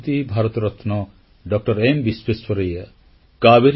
ସେ ହେଉଛନ୍ତି ଭାରତରତ୍ନ ଡଃ ଏମ୍ ବିଶ୍ୱେଶ୍ୱରାୟା